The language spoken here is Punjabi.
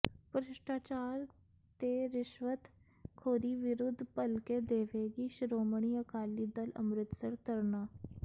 ਭ੍ਰਿਸ਼ਟਾਚਾਰ ਤੇ ਰਿਸ਼ਵਤ ਖੋਰੀ ਵਿਰੁੱਧ ਭਲਕੇ ਦੇਵੇਗੀ ਸ਼੍ਰੋਮਣੀ ਅਕਾਲੀ ਦਲ ਅੰਮ੍ਰਿਤਸਰ ਧਰਨਾ